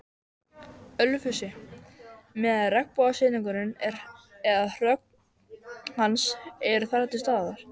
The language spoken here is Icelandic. Ölfusi, meðan regnbogasilungur eða hrogn hans eru þar til staðar.